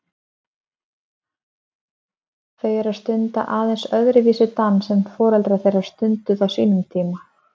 Þau eru að stunda aðeins öðruvísi dans en foreldrar þeirra stunduðu á sínum tíma?